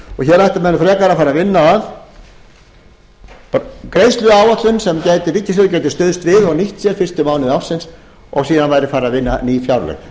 menn frekar að fara að vinna að greiðsluáætlun sem ríkissjóður gæti stuðst við og nýtt sér fyrstu mánuði ársins og síðan væri farið að vinna ný fjárlög